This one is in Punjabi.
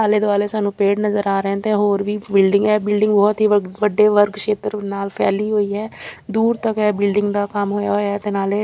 ਆਲੇ ਦੁਆਲੇ ਸਾਨੂੰ ਪੇੜ ਨਜ਼ਰ ਆ ਰਹੇ ਤੇ ਹੋਰ ਵੀ ਬਿਲਡਿੰਗ ਹੈ ਬਿਲਡਿੰਗ ਬਹੁਤ ਹੀ ਵੱਡੇ ਵਰਗ ਸ਼ੇਤਰ ਨਾਲ ਫੈਲੀ ਹੋਈ ਹੈ ਦੂਰ ਤੱਕ ਇਹ ਬਿਲਡਿੰਗ ਦਾ ਕੰਮ ਹੋਇਆ ਹੋਇਆ ਹੈ ਤੇ ਨਾਲੇ --